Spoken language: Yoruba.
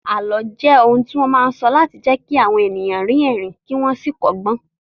Àlọ́ jẹ́ irọ́ tí wọ́n máa ń sọ láti jẹ́ kí àwọn ènìyàn rín ẹ̀rín kí wọ́n sì kọ́gbọ́n